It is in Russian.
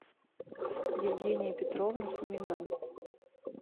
евгения петровна сумина